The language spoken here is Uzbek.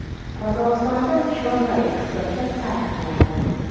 Qozog‘istonda chorva eksporti taqiqlandi.